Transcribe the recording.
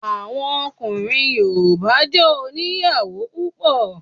Àwọn ọkùnrin Yorùbá jé oníyàwó púpọ̀